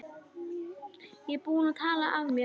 Ég er búinn að tala af mér.